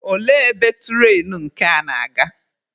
Olee ebe turainu nke a na-aga?